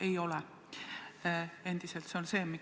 Ei, need ikka veel ei ole saadaval.